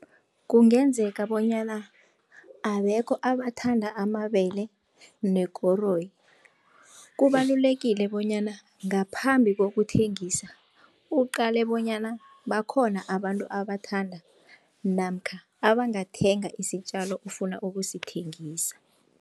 Kungenzeka bonyana abekho abathanda amabele nekoroyi. Kubalulekile bonyana ngaphambi kokuthengisa uqale bonyana bakhona abantu abathanda namkha abangathenga isitjalo ofuna ukusithengisa.